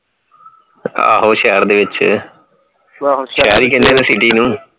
ਆਹੋ ਸ਼ਹਿਰ ਦੇ ਵਿੱਚ city ਨੂੰ